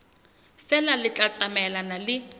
feela le tla tsamaelana le